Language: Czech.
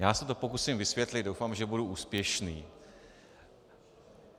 Já se to pokusím vysvětlit, doufám, že budu úspěšný.